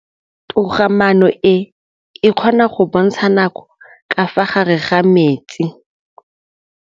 Toga-maanô e, e kgona go bontsha nakô ka fa gare ga metsi.